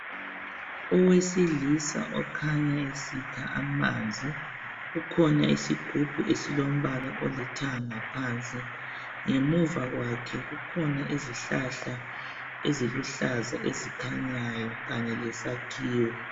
Owesilisa okhanya esikha amanzi. Kukhona isigubhu esilombala olithanga ngaphansi . Ngemuva kwakhe kukhona izihlahla eziluhlaza ezikhanyayo kanye lesakhiwo.